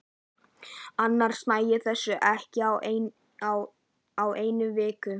Annars næ ég þessu ekki á einni viku.